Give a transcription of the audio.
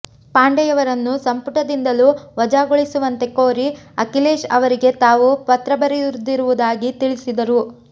ಪಾಂಡೆಯವರನ್ನು ಸಂಪುಟದಿಂದಲೂ ವಜಾಗೊಳಿಸುವಂತೆ ಕೋರಿ ಅಖಿಲೇಶ್ ಅವರಿಗೆ ತಾವು ಪತ್ರ ಬರೆದಿರುವುದಾಗಿ ತಿಳಿಸಿದರು